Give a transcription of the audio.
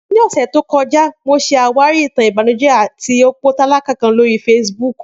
Ni ọsẹ to kọja, Mo ṣe awari itan ibanujẹ ti opo talaka kan lori Facebook.